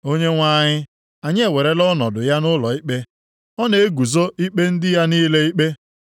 Onyenwe anyị anyị ewerela ọnọdụ ya nʼụlọikpe; ọ na-eguzo ikpe ndị ya niile ikpe.